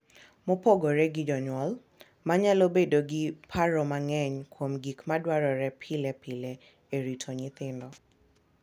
Mopogore gi jonyuol, ma nyalo bedo gi paro mang’eny kuom gik ma dwarore pile pile e rito nyithindo,